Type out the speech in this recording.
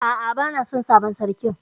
A'a bana son sabon sarkin.